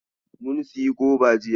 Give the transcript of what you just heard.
Mun sayi goba jiya.